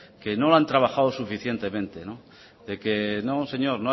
que no lo han trabajado suficientemente de que no señor